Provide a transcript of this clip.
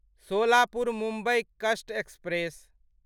सोलापुर मुम्बई कस्ट एक्सप्रेस